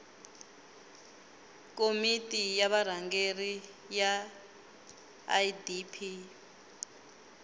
komiti ya vurhangeri ya idp